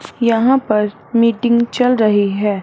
यहां पर मीटिंग चल रही है।